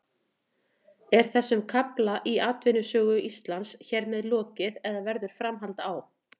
Er þessum kafla í atvinnusögu Íslands hér með lokið eða verður framhald á?